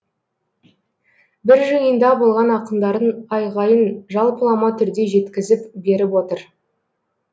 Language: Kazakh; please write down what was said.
бір жиында болған ақындардың айғайын жалпылама түрде жеткізіп беріп отыр